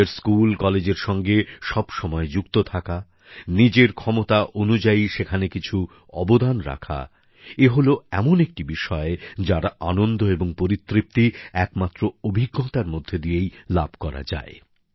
নিজের স্কুল কলেজের সঙ্গে সব সময় যুক্ত থাকা নিজের ক্ষমতা অনুযায়ী সেখানে কিছু অবদান রাখা ইত্যাদি এ হল এমন একটি বিষয় যার আনন্দ এবং পরিতৃপ্তি একমাত্র অভিজ্ঞতার মধ্যে দিয়েই লাভ করা যায়